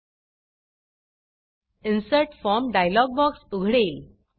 insert form insert form dialog box उघडेल